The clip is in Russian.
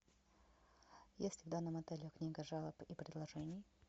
есть ли в данном отеле книга жалоб и предложений